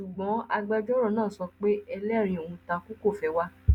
ṣùgbọn agbẹjọrò náà sọ pé ẹlẹrìí ọhún takú kò fẹẹ wá